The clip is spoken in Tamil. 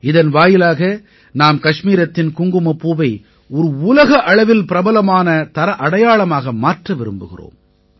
இதன் வாயிலாக நாம் கஷ்மீரத்தின் குங்குமப்பூவை ஒரு உலக அளவில் பிரபலமான தர அடையாளமாக மாற்ற விரும்புகிறோம்